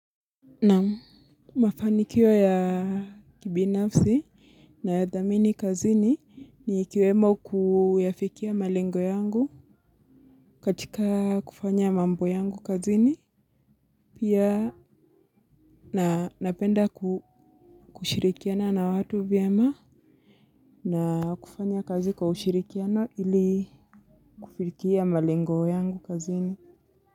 Naam. Mafanikio ya kibinafsi na ya dhamini kazini ni kiwemo kuyafikia malengo yangu katika kufanya mambo yangu kazini. Pia napenda kushirikiana na watu vyema. Na kufanya kazi kwa ushirikiano ili kufirikia malengo yangu kazini.